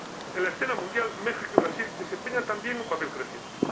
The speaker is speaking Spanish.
En la escena mundial, México y Brasil desempeñan también un papel creciente.